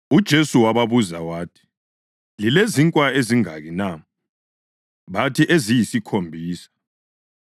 UJesu wababuza wathi, “Lilezinkwa ezingaki na?” Bathi, “Eziyisikhombisa.”